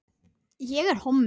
Í einu málanna var Svavari